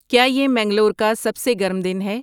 کیا یہ منگلور کا سب سے گرم دن ہے